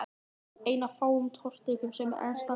Ein af fáum torfkirkjum sem enn standa á Íslandi.